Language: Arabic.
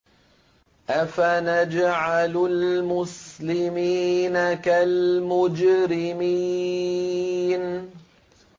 أَفَنَجْعَلُ الْمُسْلِمِينَ كَالْمُجْرِمِينَ